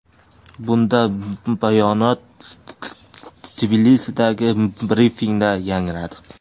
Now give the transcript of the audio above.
Bunday bayonot Tbilisidagi brifingda yangradi.